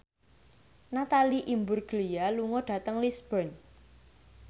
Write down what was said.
Natalie Imbruglia lunga dhateng Lisburn